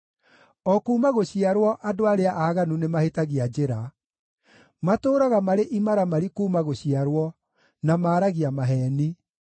O kuuma gũciarwo andũ arĩa aaganu nĩmahĩtagia njĩra; matũũraga marĩ imaramari kuuma gũciarwo, na maaragia maheeni.